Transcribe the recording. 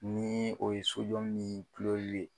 Ni o ye sojɔ ni ye